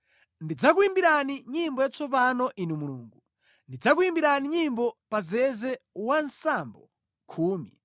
Ndidzakuyimbirani nyimbo yatsopano Inu Mulungu; ndidzakuyimbirani nyimbo pa zeze wa nsambo khumi,